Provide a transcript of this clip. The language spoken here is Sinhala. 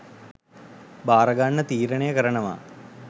භාරගන්න තීරණය කරනවා